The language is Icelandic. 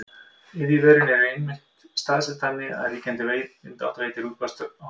iðjuverin eru einnig staðsett þannig að ríkjandi vindátt leiðir útblástur á haf út